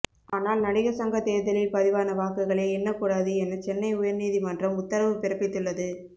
ஆனால் நடிகர் சங்க தேர்தலில் பதிவான வாக்குகளை எண்ணக்கூடாது என சென்னை உயர்நீதிமன்றம் உத்தரவு பிறப்பித்துள்ளது